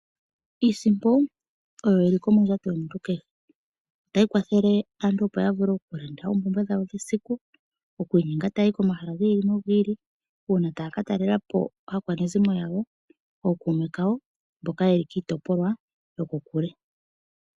Iisimpo oyo ya pumbiwa komuntu kehe . Otayi kwathele aantu opo yavule okulanda oompumbwe dhawo dhesiku . Oku inyenga ta yayi komahala gi ili nogi ili uuna taya ka talelapo aakwanezimo yawo nenge oonkume kawo mboka yeli kiitopolwa yo kokule .